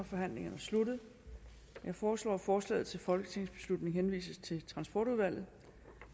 forhandlingen er sluttet jeg foreslår at forslaget til folketingsbeslutning henvises til transportudvalget